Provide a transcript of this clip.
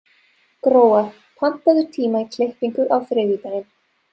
Gróa, pantaðu tíma í klippingu á þriðjudaginn.